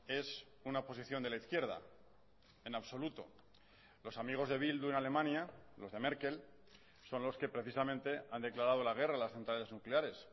es una posición de la izquierda en absoluto los amigos de bildu en alemania los de merkel son los que precisamente han declarado la guerra a las centrales nucleares